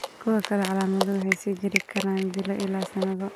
Kuwa kale, calaamaduhu waxay sii jiri karaan bilo ilaa sannado.